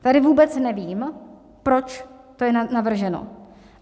Tady vůbec nevím, proč to je navrženo.